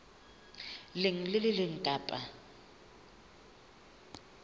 leng le le leng kapa